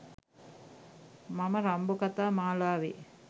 මම රම්බෝ කතා මාලාවේ